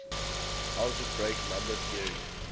algebraic number theory